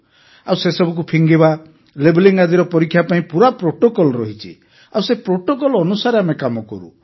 ଆଉ ସେସବୁକୁ ଫିଙ୍ଗିବା ଲେବେଲିଂ ଆଦିର ପରୀକ୍ଷା ପାଇଁ ପୁରା ପ୍ରୋଟୋକଲ୍ ରହିଛି ଆଉ ସେହି ପ୍ରୋଟୋକଲ୍ ଅନୁସାରେ କାମ କରୁ